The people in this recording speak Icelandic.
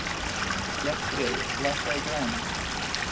Bjarnfreður, lækkaðu í græjunum.